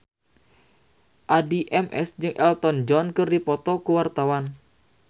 Addie MS jeung Elton John keur dipoto ku wartawan